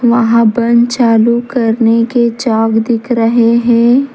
वहां बंद चालू करने के चौक दिख रहे हैं।